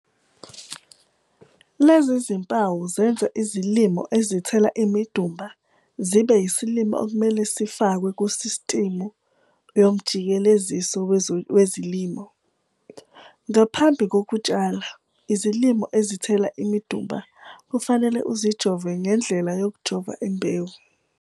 Lezi zimpawu zenza izilimo ezithela imidumba zibe yisilimo okumele sifakwe kusistimu yomjikeleziso wezilimo. Ngaphambi kokutshala, izilimo ezithela imidumba kufanele uzijove ngendlela yokujova imbewu.